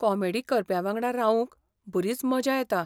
Comedy करप्यांवांगडा रावूंक बरीच मजा येता.